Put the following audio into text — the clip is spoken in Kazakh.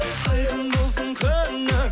айқын болсын көңілің